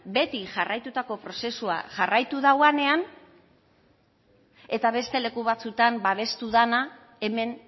beti jarraitutako prozesua jarraitu dauanean eta beste leku batzutan babestu dana hemen